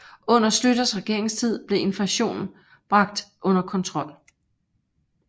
Under Schlüters regeringstid blev inflationen bragt under kontrol